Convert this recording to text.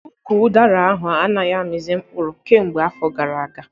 Ụkwụ udara ahụ anaghị amizi mkpụrụ kemgbe afọ gara aga